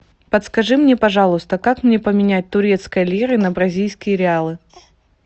подскажи мне пожалуйста как мне поменять турецкие лиры на бразильские реалы